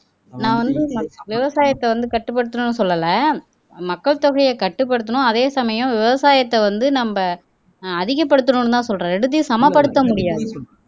நான் வந்து மக் விவசாயத்தை வந்து கட்டுப்படுத்தணும்னு சொல்லல மக்கள் தொகையை கட்டுப்படுத்தணும் அதே சமயம் விவசாயத்தை வந்து நம்ம அஹ் அதிகப்படுத்தணும்ன்னுதான் சொல்றேன் ரெண்டத்தையும் சமப்படுத்த முடியாது